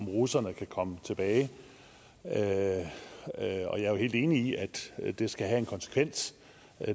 russerne kan komme tilbage jeg er jo helt enig i at det skal have en konsekvens